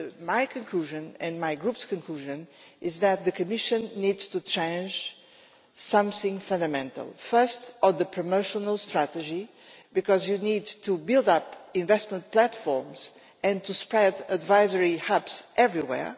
My conclusion, and my Group's conclusion, is that the Commission needs to change something fundamental, first on the promotional strategy, because you need to build up investment platforms and to spread advisory hubs everywhere.